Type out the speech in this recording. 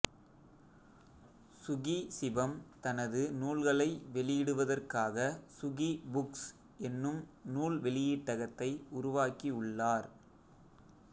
சுகி சிவம் தனது நூல்களை வெளியிடுவதற்காகச் சுகி புக்ஸ் என்னும் நூல் வெளியீட்டகத்தை உருவாக்கி உள்ளார்